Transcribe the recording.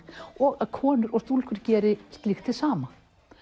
og að konur og stúlkur geri slíkt hið sama